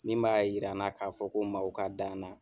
Min b'a yira n na k'a fɔ ko maaw ka da n na